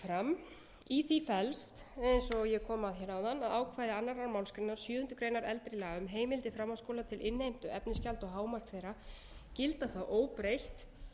fram í því felst eins og ég kom að hér áðan að ákvæði önnur málsgrein sjöundu greinar eldri laga um heimildir framhaldsskóla til innheimtu efnisgjalda og hámark þeirra gilda þá óbreytt